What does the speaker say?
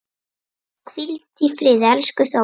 Hvíldu í friði, elsku Þórey.